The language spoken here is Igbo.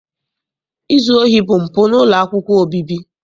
Izu ohi bụ mpụ n'ụlọ akwụkwọ obibi.